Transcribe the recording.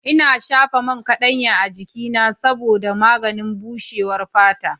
Ina shafa man kaɗanya a jikina saboda maganin bushewar fata.